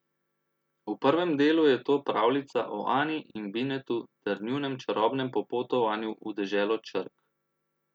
V prvem delu je to pravljica o Ani in Binetu ter njunem čarobnem popotovanju v deželo črk.